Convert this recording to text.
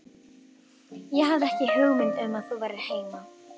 Ég hafði ekki hugmynd um að þú værir heima